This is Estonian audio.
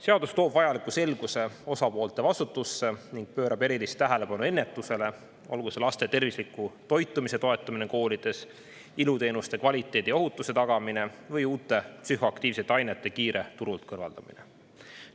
Seadus toob vajaliku selguse osapoolte vastutusse ning pöörab erilist tähelepanu ennetusele, olgu see laste tervisliku toitumise toetamine koolides, iluteenuste kvaliteedi ohutuse tagamine või uute psühhoaktiivsete ainete kiire turult kõrvaldamine.